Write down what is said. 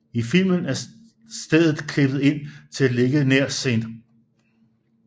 I filmen er stedet klippet ind til at ligge nær St